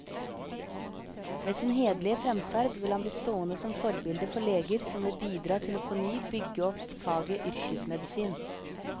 Ved sin hederlige fremferd vil han bli stående som forbilde for leger som vil bidra til påny å bygge opp faget yrkesmedisin.